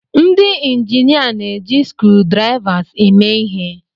Ndị injinia na-eji screwdrivers eme ihe.